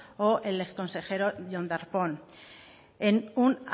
o el exconsejero jon darpón en un